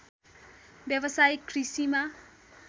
व्यावसायिक कृषिमा